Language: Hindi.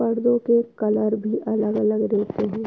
पर्दो के कलर भी अलग-अलग रहते हैं।